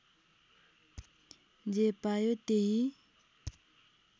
जे पायो त्यही